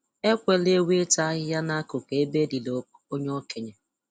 Ekwela ewu ịta ahịhịa n'akụkụ ebe e liri onye okenye